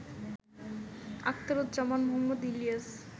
Akhtaruzzaman Mohammad Ilias